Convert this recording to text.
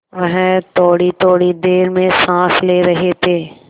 वह थोड़ीथोड़ी देर में साँस ले रहे थे